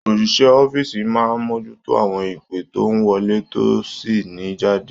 Oṣiṣẹ Ọ̀fiísí máa n mojuto àwọn ìpe tó n wọlé tó sì ni jáde.